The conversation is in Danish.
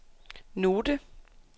note